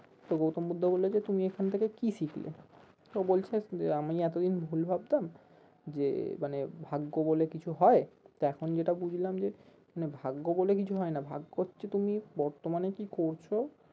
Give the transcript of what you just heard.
তো গৌতম বুদ্ধ বললো যে তুমি এখান থেকে কি শিখলে? তো বলছে আমি এতদিন ভুল ভাবতাম যে মানে ভাগ্য বলে কিছু হয় তো এখন যেটা বুঝলাম যে না ভাগ্য বলে কিছু হয় না ভাগ্য হচ্ছে তুমি বর্তমানে কি করছো